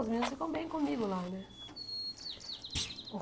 Os meninos ficam bem comigo lá né.